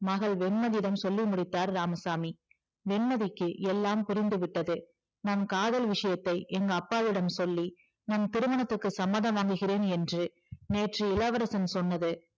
மகள் வெண்மதியிடம் சொல்லி முடித்தார் இராமசாமி வெண்மதிக்கு எல்லாம் புரிந்துவிட்டது நம் காதல் விஷயத்தை எங்க அப்பாவிடம் சொல்லி நம் திருமணத்திற்கு சம்மதம் வாங்குகிறேன் என்று நேற்று இளவரசன் சொன்னது